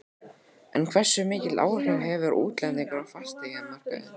En hversu mikil áhrif hafa útlendingar á fasteignamarkaðinn?